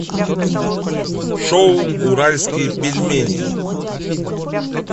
шоу уральские пельмени